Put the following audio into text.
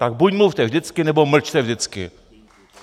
Tak buď mluvte vždycky, nebo mlčte vždycky!